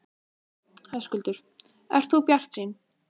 Höskuldur: Ert þú bjartsýn?